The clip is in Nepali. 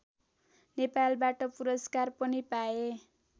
नेपालबाट पुरस्कार पनि पाए